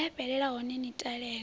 ya fhelela hone ni talele